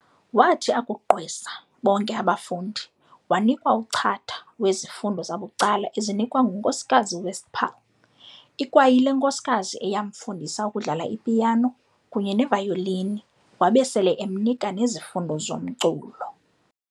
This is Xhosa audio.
Waathi akuqgwesa bonke abafundi, waanikwa uchatha wezifundo zabucala ezinikwa nguNkosikazi Westphal, ikwayile nkosikazi eyamfundisa ukudlala i-piano kunye ne-violini, waba sele emnika nezifundo zomculo.